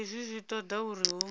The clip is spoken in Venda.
hezwi zwi toda uri hu